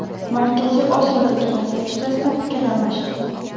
Markaziy Osiyodagi vaziyat yuzasidan fikr almashildi.